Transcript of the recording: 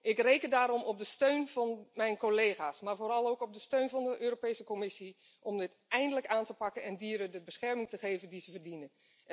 Ik reken daarom op de steun van mijn collega's, maar vooral ook op de steun van de Europese Commissie om dit eindelijk aan te pakken en dieren de bescherming te geven die ze verdienen.